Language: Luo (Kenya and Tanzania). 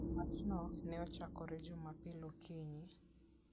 Wachno ne ochakore Jumapil okinyi.